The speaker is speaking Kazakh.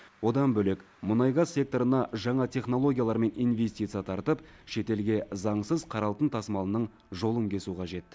одан бөлек мұнай газ секторына жаңа технологиялар мен инвестиция тартып шетелге заңсыз қара алтын тасымалының жолын кесу қажет